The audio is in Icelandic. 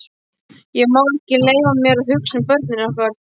Ég má ekki leyfa mér að hugsa um börnin okkar.